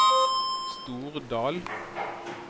Stordal